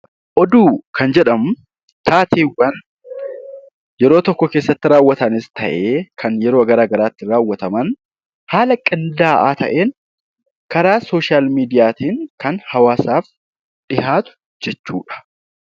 Oduu Kan jedhamu taateewwan yeroo tokko keessatti raawwatanis tahee Kan yeroo garaagaraa keessatti raawwataman haala qindaa'aa taheen karaa sooshal meediyaatiin kan hawaasaaf dhiyaatu jechuudha.